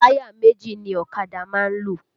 Táyà méjì ni ọ̀kadà máa ń lò